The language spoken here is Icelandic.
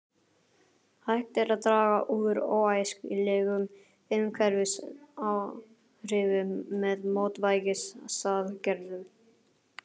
Hægt er að draga úr óæskilegum umhverfisáhrifum með mótvægisaðgerðum.